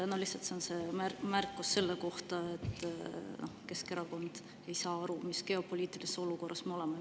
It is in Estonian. See märkus oli selle kohta, nagu Keskerakond ei saaks aru, millises geopoliitilises olukorras me oleme.